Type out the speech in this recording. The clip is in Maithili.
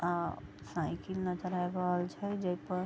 आ साइकिल नजर आएब रहल छई जे पर --